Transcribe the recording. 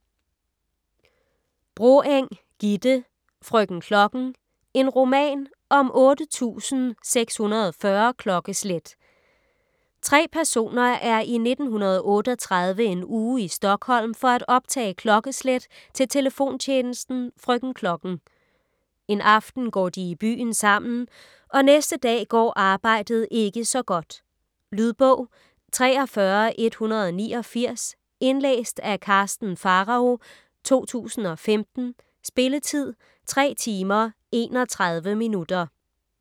Broeng, Gitte: Frøken Klokken: en roman om 8640 klokkeslæt Tre personer er i 1938 en uge i Stockholm for at optage klokkeslæt til telefontjenesten "Frøken Klokken". En aften går de i byen sammen, og næste dag går arbejdet ikke så godt. Lydbog 43189 Indlæst af Karsten Pharao, 2015. Spilletid: 3 timer, 31 minutter.